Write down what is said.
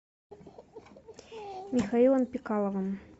михаилом пикаловым